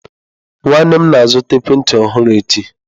Nwanne m na-azụta ekwentị ọhụrụ echi.